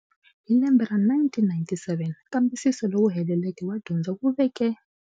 Hi lembe ra 1997, nkambisiso lowu heleleke wa dyondzo wu veke.